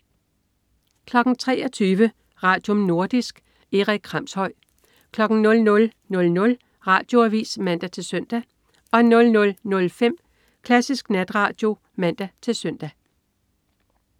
23.00 Radium. Nordisk. Erik Kramshøj 00.00 Radioavis (man-søn) 00.05 Klassisk Natradio (man-søn)